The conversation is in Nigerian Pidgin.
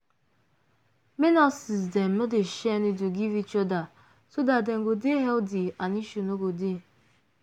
make nurses dem no dey share needle give each other so dat dem go dey healthy and issue no go dey